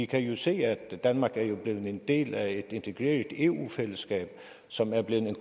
kan jo se at danmark er blevet en del af et integreret eu fællesskab som er blevet en